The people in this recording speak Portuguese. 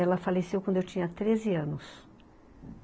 Ela faleceu quando eu tinha treze anos.